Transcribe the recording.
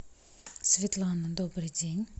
светлана добрый день